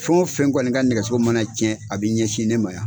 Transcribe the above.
Fɛn o fɛn kɔni ka nɛgɛso mana cɛn a bɛ ɲɛsin ne ma.